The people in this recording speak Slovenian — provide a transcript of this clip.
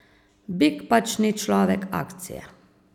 Bik pač ni človek akcije.